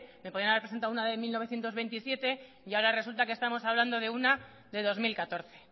me podían haber presentado una de mil novecientos veintisiete y ahora resulta que estamos hablando de una de dos mil catorce